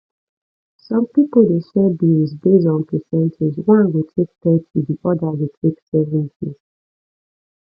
some pipo de share bills based on percentage one go take thirty di other go take 70